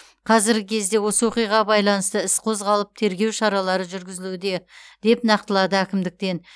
қазіргі кезде осы оқиғаға байланысты іс қозғалып тергеу шаралары жүргізілуде деп нақтылады әкімдіктен